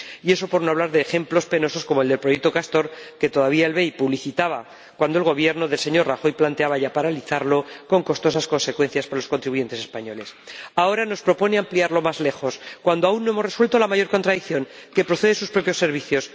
Y eso por no hablar de ejemplos penosos como el del proyecto Castor, que todavía el BEI publicitaba cuando el Gobierno del señor Rajoy planteaba ya paralizarlo con costosas consecuencias por los contribuyentes españoles. Ahora nos propone ampliarlo más lejos, cuando aún no hemos resuelto la mayor contradicción, que procede de sus propios servicios.